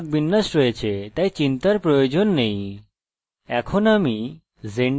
এর জন্য মানক বিন্যাস আছে তাই আমাদের চিন্তার প্রয়োজন নেই